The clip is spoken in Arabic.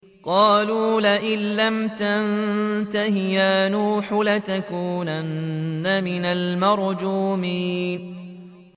قَالُوا لَئِن لَّمْ تَنتَهِ يَا نُوحُ لَتَكُونَنَّ مِنَ الْمَرْجُومِينَ